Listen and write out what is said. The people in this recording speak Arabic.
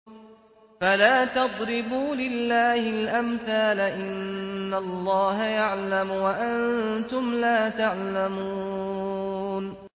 فَلَا تَضْرِبُوا لِلَّهِ الْأَمْثَالَ ۚ إِنَّ اللَّهَ يَعْلَمُ وَأَنتُمْ لَا تَعْلَمُونَ